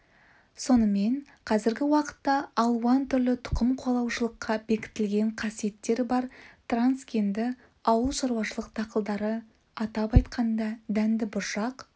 сонымен қазіргі уақытта алуан түрлі тұқым қуалаушылыққа бекітілген қасиеттері бар трансгенді ауыл шаруашылық дақылдары атап айтқанда дәнді бұршақ